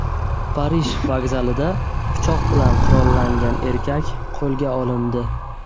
Parij vokzalida pichoq bilan qurollangan erkak qo‘lga olindi.